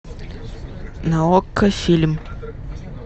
на окко фильм